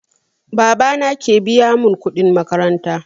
Baba na ke biya mun kuɗin makaranta